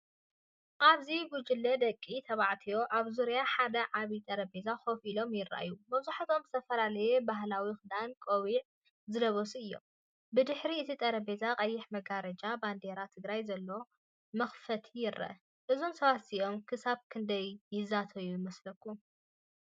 ኣብዚ ጉጅለ ደቂ ተባዕትዮ ኣብ ዙርያ ሓደ ዓቢ ጠረጴዛ ኮፍ ኢሎም ይረኣዩ። መብዛሕትኦም ዝተፈላለየ ባህላዊ ክዳውንትን ቆቢዕን ዝለበሱ እዮም። ብድሕሪ እቲ ጠረጴዛ ቀይሕ መጋረጃን ባንዴራ ትግራይን ዘለዎ መኽፈቲ ይርአ። እዞም ሰባት እዚኦም ክሳብ ክንደይ ይዛተዩ ይመስለኩም?